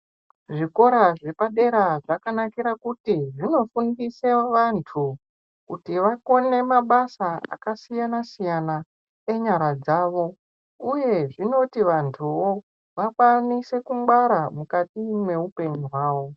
Zvikora zvapadera zvakanakira kuti zvinofundise vantu kuti vakone mabasa akasiyana siyana enyara dzavo uye zvinoti vanhuwo vakwanise kungwara mukati mweupenyu hwavo.